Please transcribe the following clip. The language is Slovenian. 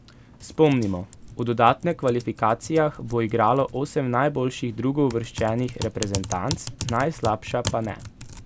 Spomnimo, v dodatne kvalifikacijah bo igralo osem najboljših drugouvrščenih reprezentanc, najslabša pa ne.